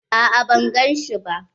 A'a ban gan shi ba.